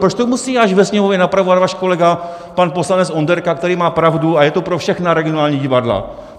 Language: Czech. Proč to musí až ve Sněmovně napravovat váš kolega pan poslanec Onderka, který má pravdu, a je to pro všechna regionální divadla?